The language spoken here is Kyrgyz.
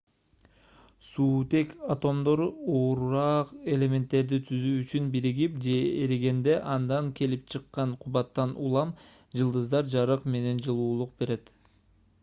суутек атомдору оорураак элементтерди түзүү үчүн биригип же эригенде андан келип чыккан кубаттан улам жылдыздар жарык менен жылуулук берет